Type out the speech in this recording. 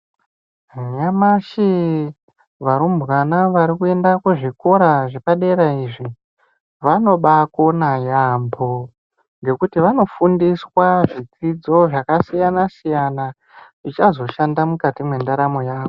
Nyamashii, varumbwana vari kuenda kuzvikora zvepa dera izvi, vanobaa kona yaamho, ngekuti vanofundiswa zvidzidzo zvakasyana siyana zvichazo shanda mukati mwendaramo yawo.